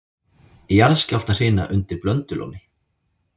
Jarðskjálftahrina undir Blöndulóni